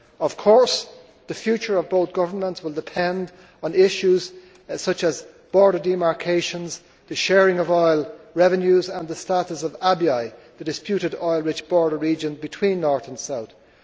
Of course the future of both governments will depend on issues such as border demarcations, the sharing of oil revenues and the status of Abyei, the disputed oil rich border region between North and South.